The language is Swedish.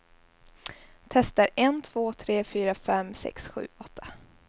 Testar en två tre fyra fem sex sju åtta.